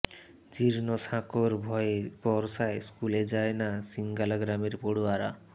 জীর্ণ সাঁকোর ভয়ে বর্ষায় স্কুলে যায় না সিঙ্গালা গ্রামের পড়ুয়ারা